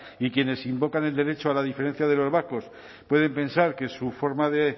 y quienes invocan el derecho a la diferencia de los vascos pueden pensar que su forma de